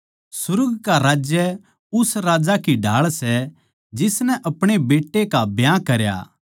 सुर्ग का राज्य उस राजा की ढाळ सै जिसनै अपणे बेट्टे का ब्याह करया